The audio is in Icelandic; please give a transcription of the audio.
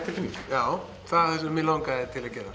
já það það sem mig langaði að gera